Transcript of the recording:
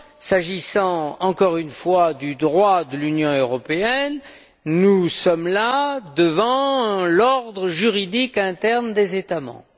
S'agissant encore une fois du droit de l'Union européenne, nous sommes là devant l'ordre juridique interne des États membres.